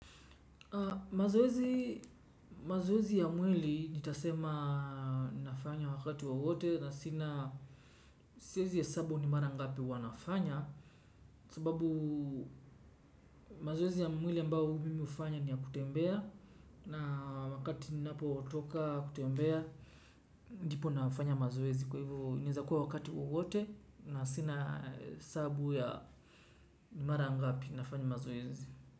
Mazoezi ya mwili nitasema nafanya wakati wowote na sina siwezi hesabu ni mara ngapi wanafanya sababu mazoezi ya mwili ambao mimi ufanya ni ya kutembea na wakati napo watoka kutembea ndipo nafanya mazoezi kwa hivo inaezakuwa wakati wowote na sina sabu ya ni mara ngapi nafanya mazoezi.